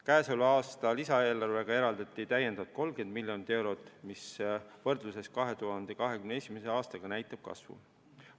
Käesoleva aasta lisaeelarvega eraldati täiendavalt 30 miljonit eurot, mis võrdluses 2021. aastaga näitab kasvu.